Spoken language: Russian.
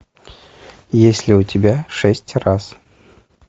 есть ли у тебя шесть раз